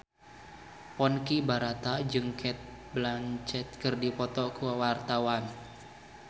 Ponky Brata jeung Cate Blanchett keur dipoto ku wartawan